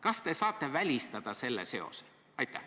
Kas te saate välistada selle seose?